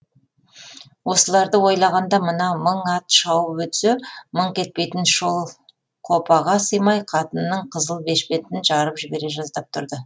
осыларды ойлағанда мына мың ат шауып өтсе мыңқ етпейтін шолқопаға сыймай қатынның қызыл бешпентін жарып жібере жаздап тұрды